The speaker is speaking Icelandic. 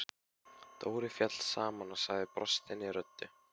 Dóri féll saman og sagði brostinni röddu: